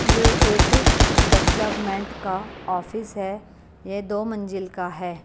ये एक डेवलपमेंट का ऑफिस है ये दो मंजिल का है।